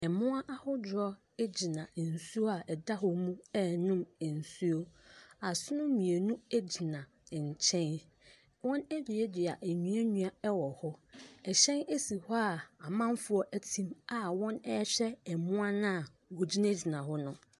Ɛmmoa ahodoɔ egyina ensuo a ɛda hɔ mu ɛɛnom ensuo, asono mmienu egyina nkyɛn. Wɔn aduadua nuanua ɛwɔ hɔ, ɛhyɛn esi hɔ a amanfoɔ ɛte mu a wɔn ɛɛhwɛ ɛmmoa na wɔgyina gyina hɔ no.